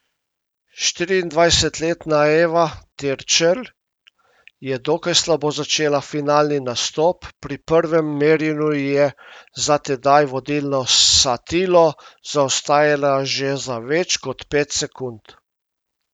Štiriindvajsetletna Eva Terčelj je dokaj slabo začela finalni nastop, pri prvem merjenju je za tedaj vodilno Satilo zaostajala že za več kot pet sekund.